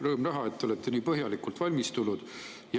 Rõõm näha, et te olete nii põhjalikult valmistunud.